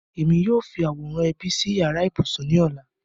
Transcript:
Émi yóò fi aworan ẹbi sí yara-íbusun ni ọla.